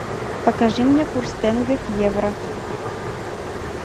покажи мне курс тенге к евро